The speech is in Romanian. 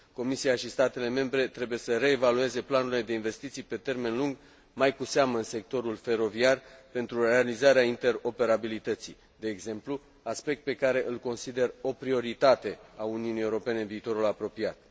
Comisia și statele membre trebuie să reevalueze planurile de investiții pe termen lung, mai cu seamă în sectorul feroviar, pentru realizarea interoperabilității de exemplu, aspect pe care îl consider o prioritate a Uniunii Europene în viitorul apropiat.